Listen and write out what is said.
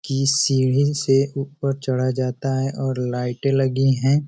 की इस सीढ़ी से ऊपर चढ़ा जाता है और लाइटे लगी हैं।